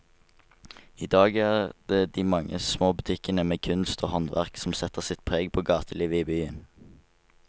I dag er det de mange små butikkene med kunst og håndverk som setter sitt preg på gatelivet i byen.